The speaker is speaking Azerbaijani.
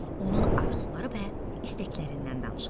Onun arzuları və istəklərindən danışılır.